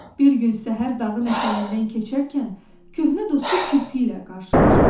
Bir gün səhər dağın ətəyindən keçərkən köhnə dostu Kirpi ilə qarşılaşdı.